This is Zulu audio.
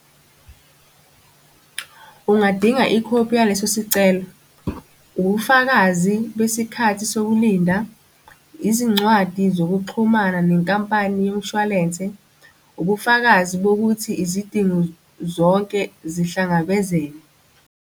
Ungadinga ikhophi yaleso sicela. Ubufakazi besikhathi sokulinda, izincwadi zokuxhumana nenkampani yomshwalense, ubufakazi bokuthi izidingo zonke zihlangabezene.